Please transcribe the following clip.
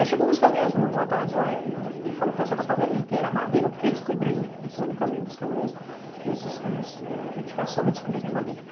Aí chegou uns caminhões uma tarde lá e falou o pessoal da favelinha que era madeira, porque eles cobriram, segundo caminho dos caminhões, esses caminhões de caçamba, eles cobriram de madeira.